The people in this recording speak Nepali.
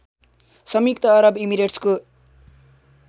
संयुक्त अरब इमिरेट्सको